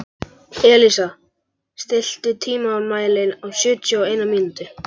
Elísa, stilltu tímamælinn á sjötíu og eina mínútur.